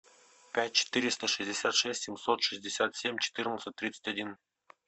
пять четыреста шестьдесят шесть семьсот шестьдесят семь четырнадцать тридцать один